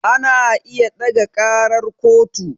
Ana iya ɗaga ƙarar kotu